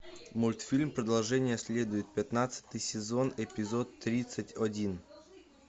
мультфильм продолжение следует пятнадцатый сезон эпизод тридцать один